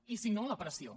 i si no la pressió